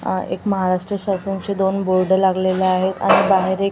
आह महाराष्ट्र शासनचे दोन बोर्ड लागलेले आहेत आणि बाहेर एक --